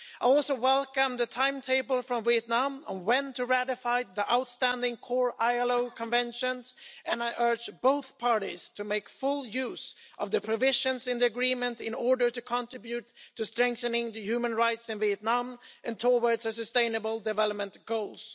I would also welcome the timetable from Vietnam on when to ratify the outstanding core ILO conventions, and I urge both parties to make full use of the provisions in the agreement in order to contribute to strengthening human rights in Vietnam and towards the Sustainable Development Goals.